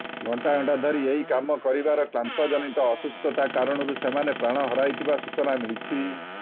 ଘଣ୍ଟା ଘଣ୍ଟା ଧରି ଏହି କାମ କରିବାର କ୍ଲାନ୍ତିଜନିତ ଅସୁସ୍ଥତା କାରଣରୁ ସେମାନେ ପ୍ରାଣ ହରାଇଥିବା ସୂଚନା ମିଳିଛି